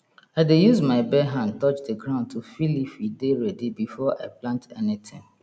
i dey use my bare hand touch the ground to feel if e dey ready before i plant anything